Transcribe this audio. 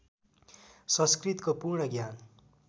संस्कृतको पूर्ण ज्ञान